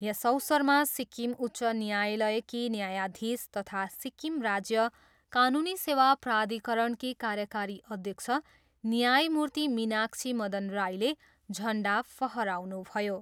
यस अवसरमा सिक्किम उच्च न्यायालयकी न्यायाधीश तथा सिक्किम राज्य कानुनी सेवा प्राधिकरणकी कार्यकारी अध्यक्ष न्यायमूर्ति मीनाक्षी मदन राईले झन्डा फहराउनुभयो।